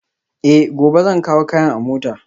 Eh, gobe zan kawo kayan a mota